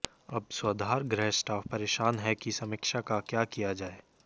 अब स्वाधार गृह स्टाफ परेशान है कि समीक्षा का क्या किया जाए